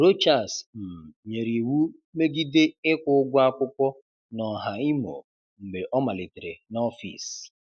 Rochas um nyere iwu megide ịkwụ ụgwọ akwụkwọ n’Ọhà Imo mgbe ọ malitere n’ọfịs.